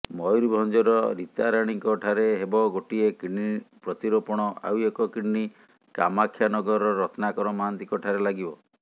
ମୟୂରଭଞ୍ଜର ରୀତାରାଣୀଙ୍କ ଠାରେ ହେବ ଗୋଟିଏ କିଡନୀ ପ୍ରତିରୋପଣ ଆଉ ଏକ କିଡନୀ କାମାକ୍ଷାନଗରର ରତ୍ନାକର ମହାନ୍ତିଙ୍କଠାରେ ଲାଗିବ